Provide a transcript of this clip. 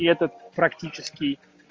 и этот практический